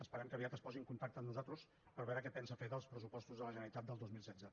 esperem que aviat es posi en contacte amb nosaltres per veure què pensa fer dels pressupostos de la generalitat del dos mil setze